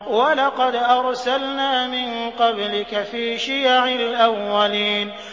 وَلَقَدْ أَرْسَلْنَا مِن قَبْلِكَ فِي شِيَعِ الْأَوَّلِينَ